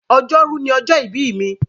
Ọjọ́rú ni ọjọ́ ìbí mi.